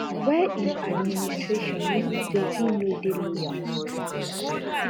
wey im administration reason say e no dey loyal